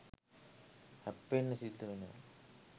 හැප්පෙන්න සිද්ධ වෙනවා.